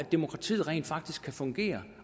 demokratiet rent faktisk kan fungere